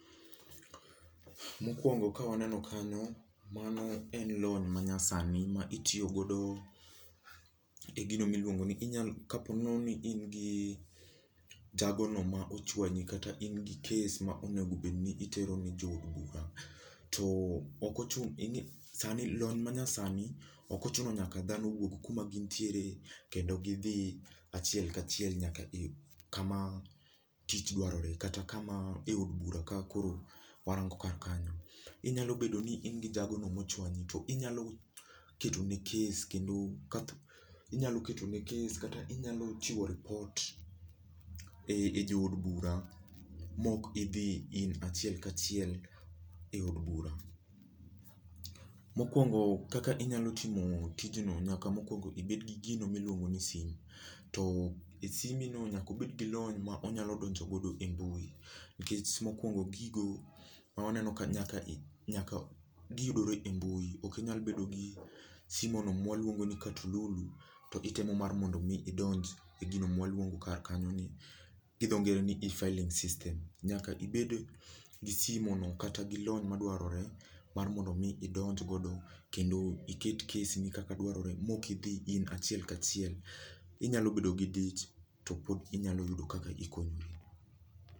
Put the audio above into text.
Mokwongo kawaneno kanyo, mano en lony ma nyasani ma itiyo godo e gino miluongo ni inyalo kapo nono ni in gi jago no ma ochuanyi kata in gi case ma onego obedni itero ne jood bura. To okochuno sani lony na nyasani, ok ochuno nyaka dhano wuog kuma gintiere kendo gidhi achiel kachiel nyaka i kama tich dwarore. Kata kama e od bura kaka koro warango kar kanyo. Inyalo bedo ni in gi jagono mochuanyi, to inyalo ketone case kendo inyalo ketone case kata inyalo chiwo report e e jood bura mok idhi in achiel kachiel e od bura mokwongo kaka inyalo timo tijno nyaka mokwongo ibed gi gino miluongo ni sim. To e simbi no nyaka obed gi lony ma onyalo donjo godo e mbui nikech mokwongo gigo mawaneno ka nyaka i nyaka giyudore e mbui ok inyal bedo gi simo no mwaluongo ni katululu to itemo mar mondo mi idonj e gino mwaluongo kar kanyo ni, gi dho ngere ni efiling system, nyaka ibed gi simo no kata gilony madwarore mar mondo mi idonj godo kendo iket case ni kaka dwarore mok idhi in achiel kachiel. Inyalo bedo gi dich to pod inyalo yudo kaka ikonyri